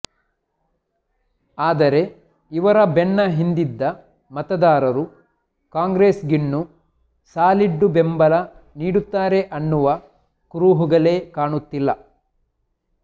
ಆದರೆ ಇವರ ಬೆನ್ನ ಹಿಂದಿದ್ದ ಮತದಾರರು ಕಾಂಗ್ರೆಸ್ ಗಿನ್ನು ಸಾಲಿಡ್ಡು ಬೆಂಬಲ ನೀಡುತ್ತಾರೆ ಅನ್ನುವ ಕುರುಹುಗಳೇ ಕಾಣುತ್ತಿಲ್ಲ